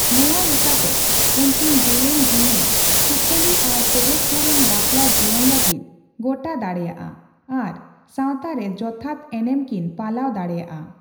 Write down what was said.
ᱱᱚᱣᱟ ᱞᱮᱠᱟᱛᱮ, ᱩᱱᱠᱤᱱ ᱡᱮᱹᱞᱮᱹᱧ ᱡᱤᱣᱤ, ᱥᱩᱠᱷᱟᱹᱞᱤ ᱟᱨ ᱯᱮᱨᱮᱡ ᱯᱩᱨᱚᱱ ᱵᱟᱯᱞᱟ ᱡᱤᱭᱚᱱ ᱞᱟᱹᱜᱤᱫ ᱜᱚᱴᱟ ᱫᱟᱲᱮᱹᱭᱟᱜᱼᱟ ᱟᱨ ᱥᱟᱣᱛᱟ ᱨᱮ ᱡᱚᱛᱷᱟᱛ ᱮᱱᱮᱢᱠᱤᱱ ᱯᱟᱞᱟᱣ ᱫᱟᱲᱮᱹᱭᱟᱜᱼᱟ ᱾